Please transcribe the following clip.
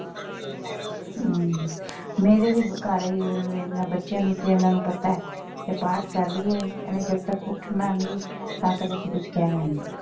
ਹਮ ਮੇਰੇ ਵੀ ਘਰ ਇਹੀ ਏ ਇਹਨਾਂ ਬੱਚਿਆਂ ਨੂੰ ਤੇ ਇਹਨਾਂ ਨੂੰ ਪਤਾ ਹੈ ਕਿ ਪਾਠ ਕਰ ਰਹੀ ਹੈ ਇਹਨੇ ਜਦ ਤੱਕ ਉੱਠਣਾ ਨਹੀਂ ਤਾਂ ਫਿਰ ਅਸੀਂ ਕੁਛ ਕਹਿਣਾ ਨਹੀਂ।